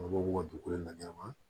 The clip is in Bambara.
b'u ka dugukolo la ɲɛnama